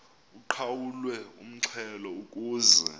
uqhawulwe umxhelo ukuze